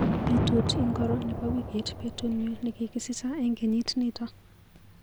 Betut ingoro nebo wikit betunyu nekikisicho eng kenyit nito?